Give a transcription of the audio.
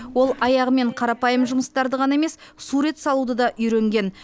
ол аяғымен қарапайым жұмыстарды ғана емес сурет салуды да үйренген